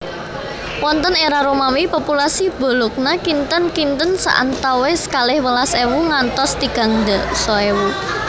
Wonten era Romawi populasi Bologna kinten kinte saantawis kalih welas ewu ngantos tigang dasa ewu